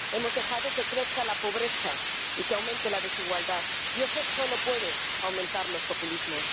Hemos dejado que crezca la pobreza, y que aumente la desigualdad, y eso solo puede aumentar los populismos.